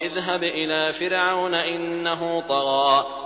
اذْهَبْ إِلَىٰ فِرْعَوْنَ إِنَّهُ طَغَىٰ